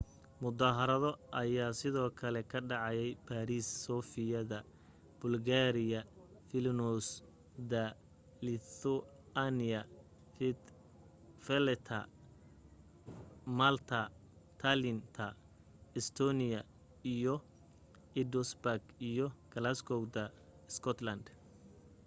mudaharaado aya sidoo kale ka dhacay baariis sofia da bulgaria vilnius da lithuania valetta ta malta tallinn ta estonia iyo edinburgh iyo glasgow ta scotland